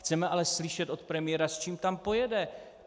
Chceme ale slyšet od premiéra, s čím tam pojede.